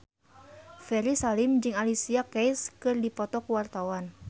Ferry Salim jeung Alicia Keys keur dipoto ku wartawan